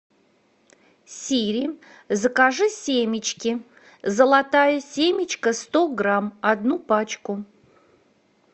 сири закажи семечки золотая семечка сто грамм одну пачку